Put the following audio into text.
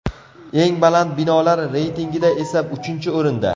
Eng baland binolar reytingida esa uchinchi o‘rinda.